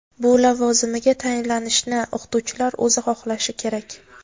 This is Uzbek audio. bu lavozimiga tayinlanishni o‘qituvchilar o‘zi xohlashi kerak.